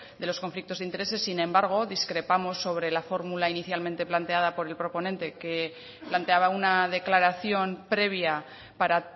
de los conflictos de intereses sin embargo discrepamos sobre la fórmula inicialmente planteada por el proponente que planteaba una declaración previa para